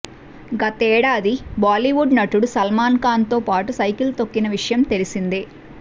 గతేడాది బాలీవుడ్ నటుడు సల్మాన్ఖాన్తో పాటు సైకిల్ తొక్కిన విషయం తెలిసిందే